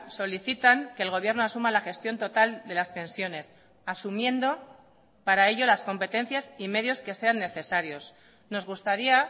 solicitan que el gobierno asuma la gestión total de las pensiones asumiendo para ello las competencias y medios que sean necesarios nos gustaría